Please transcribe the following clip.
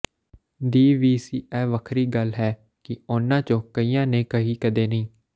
ਦੀ ਵੀ ਸੀ ਇਹ ਵੱਖਰੀ ਗੱਲ ਹੈ ਕਿ ਉਹਨਾਂ ਚੋਂ ਕਈਆਂ ਨੇ ਕਹੀ ਕਦੇ ਨਹੀਂ